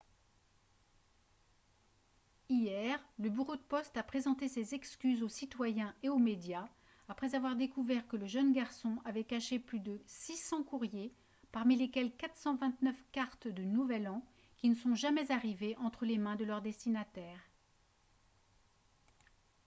hier le bureau de poste a présenté ses excuses aux citoyens et aux médias après avoir découvert que le jeune garçon avait caché plus de 600 courriers parmi lesquels 429 cartes de nouvel an qui ne sont jamais arrivées entre les mains de leur destinataire